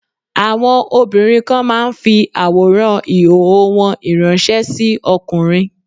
Àwọn obìnrin kan máa ń fi àwòrán ìhòòhò wọn ìránṣẹ́ sí ọkùnrin.